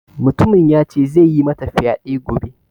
Mutumin ya ce zai yi mata fyade gobe.